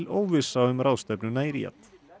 óvissa um ráðstefnuna í Ríad